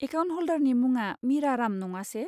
Account हल्डारनि मुङा मिरा राम नङासे?